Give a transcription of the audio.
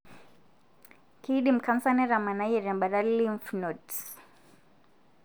kindim canser netamanayie tembata lymph nodes.